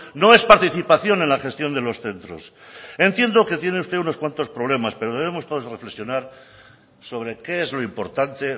no es participación en la gestión de los centros entiendo que tiene usted unos cuantos problemas pero debemos todos reflexionar sobre qué es lo importante